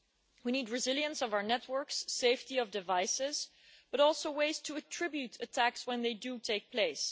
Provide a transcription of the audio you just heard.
We need resilience of our networks, safety of devices, but also ways to attribute attacks when they do take place.